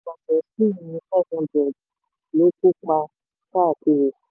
500 ló kópa um káàkiri.